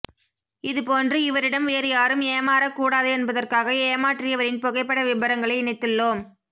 இது போன்று இவரிடம் வேறுயாரும் ஏமாறக்கூடாது என்பதற்காக ஏமாற்றியவரின் புகைப்பட விபரங்களை இணைத்துள்ளோம்